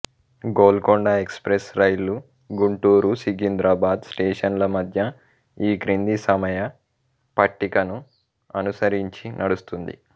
Golconda express రైలు గుంటూరు సికింద్రాబాద్ స్టేషన్ల మధ్య ఈ క్రింది సమయ పట్టికను అనుసరించి నడుస్తుంది